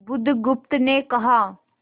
बुधगुप्त ने कहा